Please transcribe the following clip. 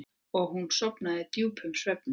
Og hún sofnaði djúpum svefni.